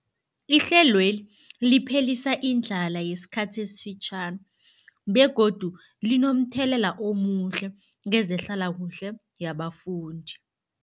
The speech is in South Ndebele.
Ihlelweli liphelisa indlala yesikhathi esifitjhani begodu linomthelela omuhle kezehlalakuhle yabafundi.